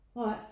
Nej